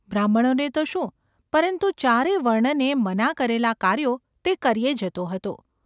બ્રાહ્મણોને તો શું, પરંતુ ચારે વર્ણને મના કરેલાં કાર્યો તે કર્યે જતો હતો.